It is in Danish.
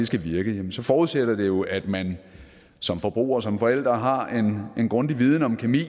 skal virke så forudsætter det jo at man som forbruger som forældre har en grundig viden om kemi